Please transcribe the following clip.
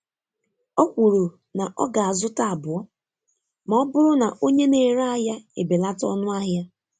Ọ kwuru na ọ ga-azụta abụọ ma ọ bụrụ na onye na-ere ahịa ebelata ọnụ ahịa.